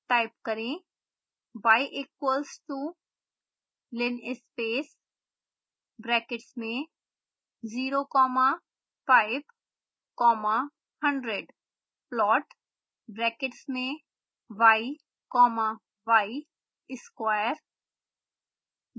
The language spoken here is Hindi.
type करें